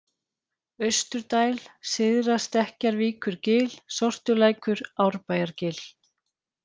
Austurdæl, Syðra-Stekkjarvíkurgil, Sortulækur, Árbæjargil